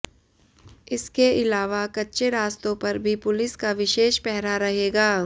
इसके इलावा कच्चे रास्तों पर भी पुलिस का विशेष पहरा रहेगा